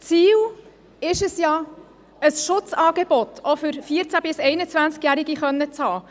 Ziel ist es ja, ein Schutzangebot auch für 14- bis 21Jährige haben zu können.